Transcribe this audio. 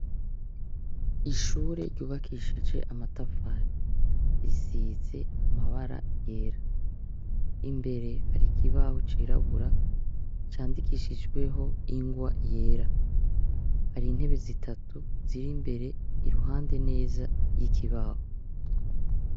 Ishure ryubakishuje amatafari, risize amabara yera. Imbere hari ikibaho cirabura candikishijweho ingwa yera. Hari intebe zitatu, ziri imbere ,iruhande neza yikibaho.